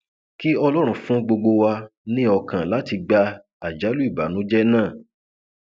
kí ọlọrun fún gbogbo wa ní ọkàn láti gba àjálù ìbànújẹ náà